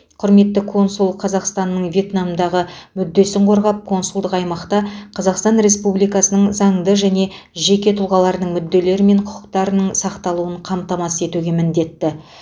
құрметті консул қазақстанның вьетнамдағы мүддесін қорғап консулдық аймақта қазақстан республикасының заңды және жеке тұлғаларының мүдделері мен құқықтарының сақталуын қамтамасыз етуге міндетті